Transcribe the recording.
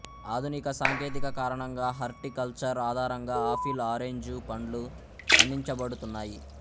ఆధునిక సాంకేతిక కారణంగా హార్టి కల్చర్ ఆధారంగా ఆఫిల్ ఆరెంజు పండ్లు పండించబడుతున్నాయి